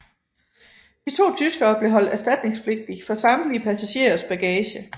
De to tyskere blev holdt erstatningspligtige for samtlige passagerers bagage